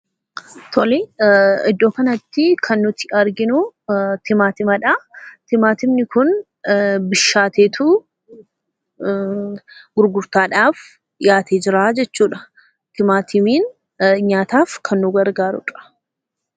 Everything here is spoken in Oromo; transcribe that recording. tole , iddoo kanattii kan nuti arginuu timaatimadha. timaatimni kun bishaateetu gurgurtaadhaaf dhiyaateetu jira jechuudha. timaatimiin nyaataaf kan nu gargaaruudha.